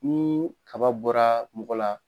Ni kaba bɔra mɔgɔ la